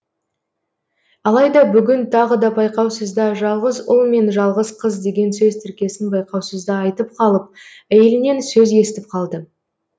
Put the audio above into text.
алайда бүгін тағы да байқаусызда жалғыз ұл мен жалғыз қыз деген сөз тіркесін байқаусызда айтып қалып әйелінен сөз естіп қалды